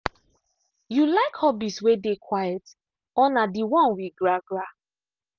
you like hobbies way dey quiet or na d one we gragra